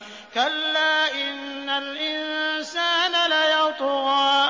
كَلَّا إِنَّ الْإِنسَانَ لَيَطْغَىٰ